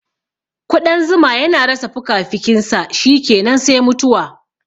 Ƙudan zuma yana rasa fukafukinsa shikenan sai mutuwa